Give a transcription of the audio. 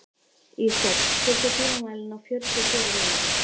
Ísdögg, stilltu tímamælinn á fjörutíu og fjórar mínútur.